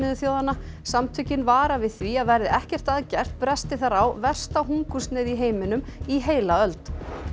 þjóðanna samtökin vara við því að verði ekkert að gert bresti þar á versta hungursneyð í heiminum í heila öld